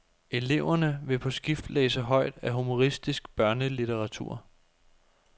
Eleverne vil på skift læse højt af humoristisk børnelitteratur.